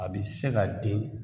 A bi se ka den